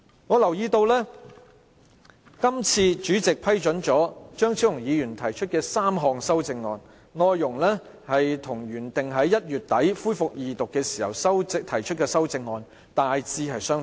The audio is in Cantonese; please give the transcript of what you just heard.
我留意到，主席批准張超雄議員提出的3項修正案，內容與《條例草案》原定於1月底恢復二讀時，他提出的修正案大致相同。